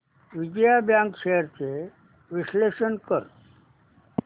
Vijaya bank shares चे विश्लेषण कर